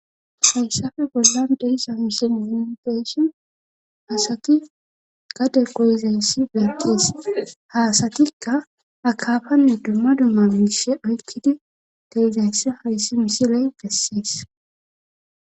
hayshafe bollan dehisa misiifigeyshon asaki gade goyizayssi beeqqees haasatikka akaafanne dumma dumma miishe aykkidi dehizayssa hayssi misiley gessees